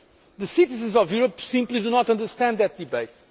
The citizens of Europe simply do not understand that debate.